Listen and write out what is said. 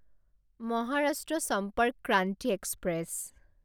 Maharashtra Sampark Kranti express